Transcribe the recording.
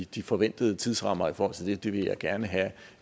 de forventede tidsrammer i forhold til det det vil jeg gerne have